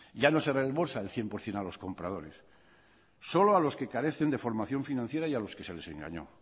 ya no se reembolsa el cien por ciento a los compradores solo a los que carecen de formación financiera y a los que se les engañó